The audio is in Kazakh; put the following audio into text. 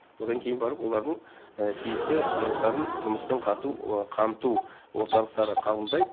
одан кейін барып олардың тиісті құжаттарын жұмыспен қамту орталықтары қабылдайды